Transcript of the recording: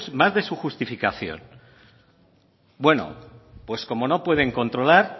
más de su justificación bueno pues como no pueden controlar